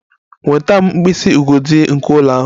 Nweta m mkpịsị ugodi nke ụlọ ahụ!